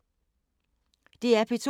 DR P2